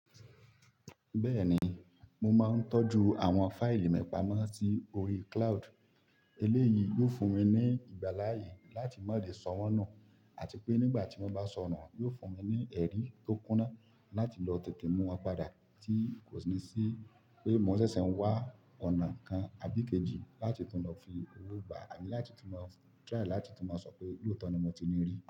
Bẹ́ẹ̀ni, mo máa ń tọ́jú àwọn fáìlì mi pamọ́ sí orí cloud. Eléyìí yóò fún mi ní ìgbàláyè láti má lè sọ wọ́n nù, àti pé nígbà tí won bá sọ nù, yóò fún mi ní ẹ̀rí tó kúná láti lọ tètè mú won padà tí kò sí ní pé mò ṣẹ̀ṣẹ̀ ń wá ọ̀nà kan àbí kejì láti tún lọ fi owó gbà àbí láti tún má try láti tún lo sọ pé lóòótọ́ ni mo ti ní rí.